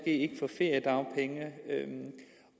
ikke kan få feriedagpenge